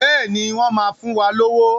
Bẹ́ẹ̀ni, wọ́n máa fún wa lówó.